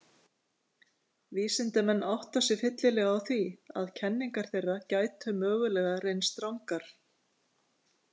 Vísindamenn átta sig fyllilega á því að kenningar þeirra gætu mögulega reynst rangar.